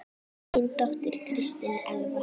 Þín dóttir, Kristín Elfa.